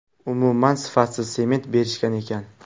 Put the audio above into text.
Umuman sifatsiz sement berishgan ekan.